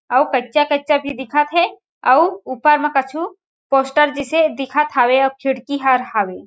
अउ कच्चा-कच्चा भी दिखत हे अउ ऊपर मा कछु पोस्टर जिसे दिखत हावेअउ खिड़की हर हावे।